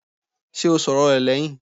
Ṣé o sọ̀rọ̀ rẹ̀ lẹ́hìn?